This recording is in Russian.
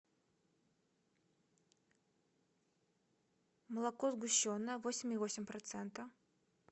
молоко сгущенное восемь и восемь процента